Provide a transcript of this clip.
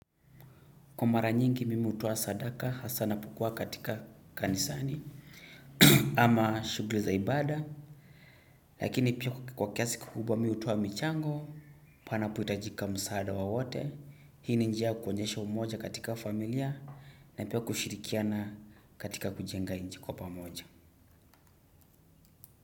Kwa mara nyingi mimi hutoa sadaka hasa napokua katika kanisani ama shughuli za ibada. Lakini pia kwa kiasi kikubwa mimi hutoa michango, panapo hitajika msaada wowote. Hii ni njia ya kuonyesha umoja katika familia na pia kushirikiana katika kujenga nchi kwa pamoja.